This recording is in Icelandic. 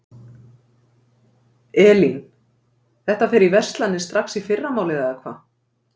Elín: Þetta fer í verslanir strax í fyrramálið eða hvað?